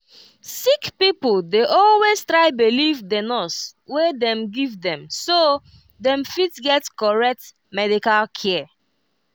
sick pipo dey always try believe the nurse wey dem give dem so dey fit get correct medical care